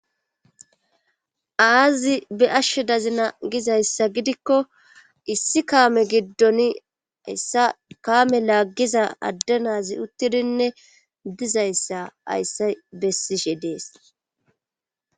aazi be ashshe dazina gizayssa gidikko issi kaame giddon hayssa kaame laaggiza addenazi uttidinne dizayssa hayssay bessishe dees